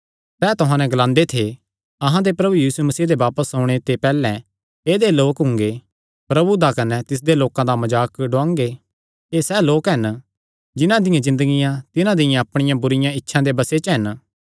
सैह़ तुहां नैं ग्लांदे थे अहां दे प्रभु यीशु मसीह दे बापस ओणे ते पैहल्ले ऐदेय लोक हुंगे प्रभु दा कने तिसदे लोकां दा मजाक डुआंगे एह़ सैह़ लोक हन जिन्हां दियां ज़िन्दगियां तिन्हां दियां अपणियां बुरिआं इच्छां दे बसे च हन